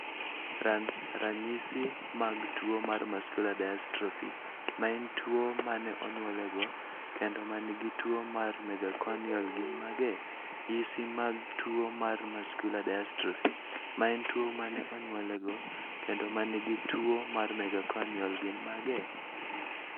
RanRanyisi mag tuwo mar muscular dystrophy, ma en tuwo ma ne onyuolego, kendo ma nigi tuwo mar megaconial gin mage? yisi mag tuwo mar muscular dystrophy, ma en tuwo ma ne onyuolego, kendo ma nigi tuwo mar megaconial gin mage?